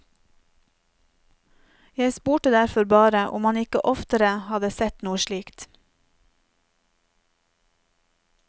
Jeg spurte derfor bare om han ikke oftere hadde sett noe slikt.